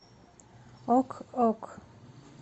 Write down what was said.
ок ок